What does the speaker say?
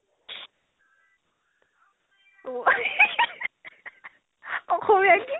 অ অসমীয়া কি?